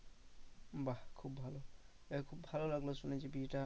বাহ্ খুব ভালো যাইহোক ভালো লাগলো শুনে যে বিয়েটা